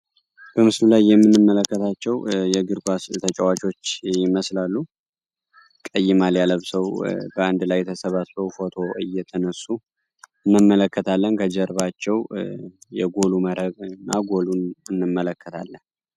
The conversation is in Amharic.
በምስሉ ላይ የምንመለከታቸው የግር ኳስ ተጫዋቾች ይመስላሉ። ቀይ ማሊያ ለብሰው በአንድ ላይ ተሰባስበው ፎቶ እየተነሱ እንመለከታለን። ከጀርባቸው የጎሉ መረብ እና ጎሉን እንመለከታለን።